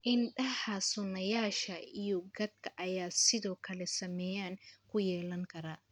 Indhaha, sunnayaasha, iyo gadhka ayaa sidoo kale saameyn ku yeelan kara.